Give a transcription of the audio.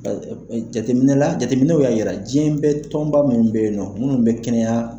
Jateminɛla jateminɛw y'a jira diɲɛ bɛ tɔnba minnu bɛ yen nɔ minnu bɛ kɛnɛyaya